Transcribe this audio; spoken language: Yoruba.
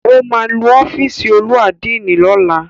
Ó máa nu ọ́fìsì olú àdínì lọ́la.